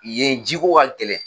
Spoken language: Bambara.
Yen ji ko ka gɛlɛn.